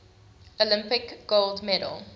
olympic gold medal